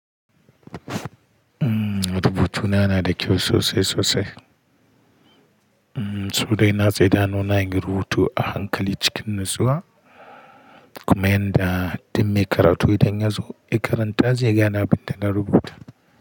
Rubutuna yana da kyau sosai sosai. Sodai na tsaitawa nona yin rubutu a hankali cikin natsuwa, kuma inda dimme karatu idan yazo ya karanta, zai gane abin da na rubuta.